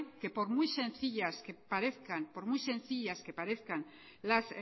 que por mucho que sencillas que parezcan las